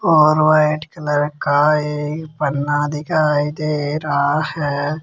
और white colour का एक पन्ना दिखाई दे रहा है।